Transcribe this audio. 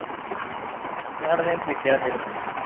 നിങ്ങടെ അവിടെ കൃഷി എന്തേലുമൊക്കെ ഉണ്ടോ